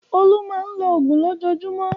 Olú máa ń lo òògùn lójoojúmọ́.